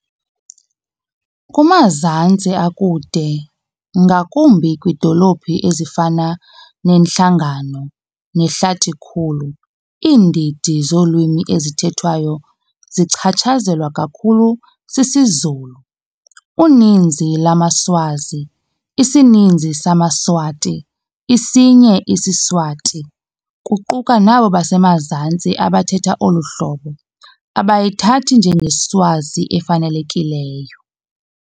Kumazantsi akude, ngakumbi kwiidolophu ezifana neNhlangano neHlatikhulu, iindidi zolwimi ezithethwayo zichatshazelwa kakhulu sisiZulu. Uninzi lwamaSwazi, isininzi samaSwati, isinye isiSwati, kuquka nabo basemazantsi abathetha olu hlobo, abayithathi njengeSwazi 'efanelekileyo'.